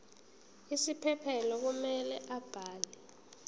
isiphephelo kumele abhale